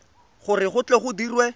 gore go tle go dirwe